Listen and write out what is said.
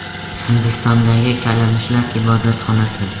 Hindistondagi kalamushlar ibodatxonasi.